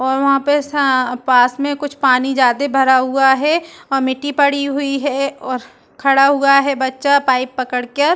और वहाँ पे सा पास में कुछ पानी जादे भरा हुआ है और मिट्टी पड़ी हुई है और खड़ा हुआ है बच्चा पाइप पकड़ के --